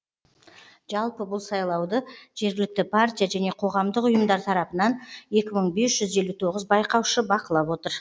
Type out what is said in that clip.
жалпы бұл сайлауды жергілікті партия және қоғамдық ұйымдар тарапынан екі мың бес жүз елу тоғыз байқаушы бақылап отыр